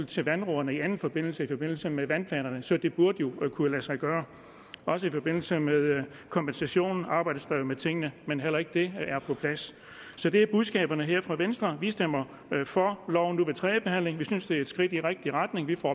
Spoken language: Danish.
til vandrådene i anden forbindelse nemlig i forbindelse med vandplanerne så det burde jo kunne lade sig gøre også i forbindelse med kompensationen arbejdes der jo med tingene men heller ikke det er på plads så det er budskabet her fra venstre vi stemmer for loven nu ved tredje behandling vi synes den er et skridt i rigtig retning vi får